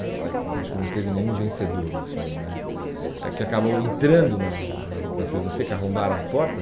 né não acho que não teve nenhum vencedor nisso aí, mas é que acabou entrando na na na na filosofia, que arrombaram a porta.